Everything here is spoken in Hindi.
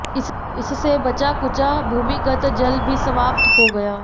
इससे बचा खुचा भूमिगत जल भी समाप्त हो गया